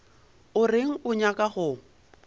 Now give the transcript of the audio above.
o reng o nyaka go